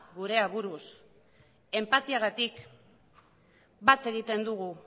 gure aburuz enpatiagatik bat egiten dugu